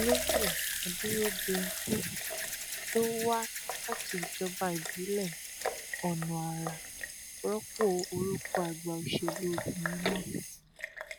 olóyè adúródenkún tó wá láti ìjọba ìbílẹ ọnàara rọpò orúkọ àgbà òṣèlú obìnrin náà